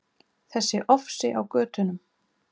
Þessi ofsi á götunum.